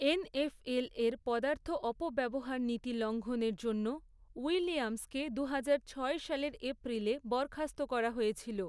এনএফএলের পদার্থ অপব্যবহার নীতি লঙ্ঘনের জন্য, উইলিয়ামসকে দুইহাজার ছয় সালের এপ্রিলে বরখাস্ত করা হয়েছিল।